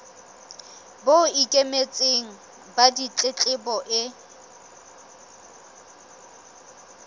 bo ikemetseng ba ditletlebo e